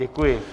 Děkuji.